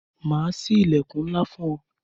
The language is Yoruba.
Ma sí ilẹkun ńlá fún ọ